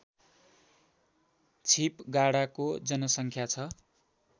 छिपगाडाको जनसङ्ख्या छ